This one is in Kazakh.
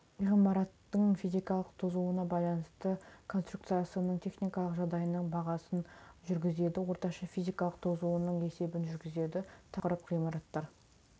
ғимараттың физикалық тозуына байланысты конструкциясының техникалық жағдайының бағасын жүргізеді орташа физикалық тозуының есебін жүргізеді тақырып ғимараттар